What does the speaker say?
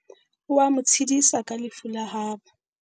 o a mo tshedisa ka lefu la habo